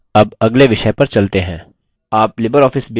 आप libreoffice base में क्या कर सकते हैं